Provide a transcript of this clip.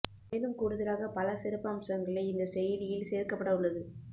மேலும் கூடுதலாக பல சிறப்பம்சங்களை இந்த செயலியில் சேர்க்க பட உள்ளது